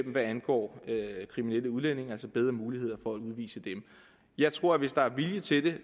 hvad angår kriminelle udlændinge altså bedre muligheder for at udvise dem jeg tror at hvis der er vilje til